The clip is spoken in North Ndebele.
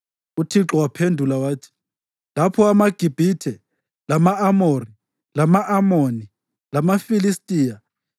UThixo waphendula wathi, “Lapho amaGibhithe, lama-Amori, lama-Amoni, lamaFilistiya,